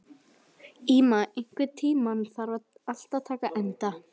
Íma, einhvern tímann þarf allt að taka enda.